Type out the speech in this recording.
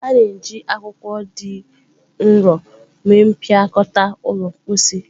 A na-eji akwụkwọ dị nro mee mpịakọta ụlọ mposi.